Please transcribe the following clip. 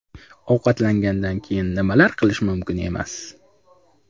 Ovqatlangandan keyin nimalar qilish mumkin emas?.